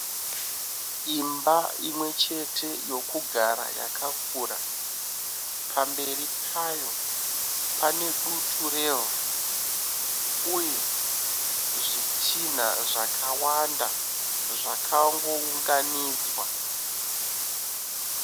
Imba imwechete yokugara yakakura. Pamberi payo pane dutu revhu uye zvitinha zvakawanda zvakangounganidzwa.